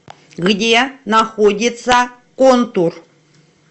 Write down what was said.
где находится контур